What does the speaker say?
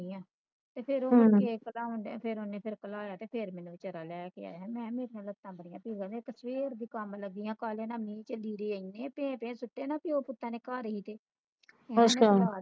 ਤੇ ਫਿਰ ਉਹ ਮੁੜਕੇ ਇੱਕ ਤਾ ਉਹਨੇ ਫਿਰ ਉਹਨੇ ਭੋਲਾਇਆ ਤੇ ਫਿਰ ਮੈਨੂੰ ਵਿਚਾਰਾਂ ਲੈ ਕੇ ਆਇਆ ਮੈਂ ਕਿਹਾ ਮੇਰੀਆਂ ਲਤਾ ਬੜੀਆਂ ਕੰਬਦੀਆਂ ਇੱਕ ਫਿਰ ਵੀ ਕੰਮ ਲੱਗੀ ਪਈਆਂ ਮੀਹ ਚ ਲੀੜ੍ਹੇ ਏਨੇ ਭੇ ਭੇ ਸਟੇ ਪਿਉ ਪੁਤਾ ਨੇ ਘਰੀ ਹੀ ਤੇ